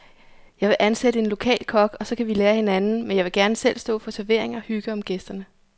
Jeg vil ansætte en lokal kok, og så kan vi lære af hinanden, men jeg vil gerne selv stå for servering og hygge om gæsterne.